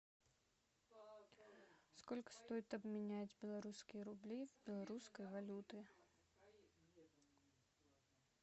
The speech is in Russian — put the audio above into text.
сколько стоит обменять белорусские рубли в белорусские валюты